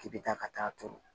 K'i bɛ taa ka taa turu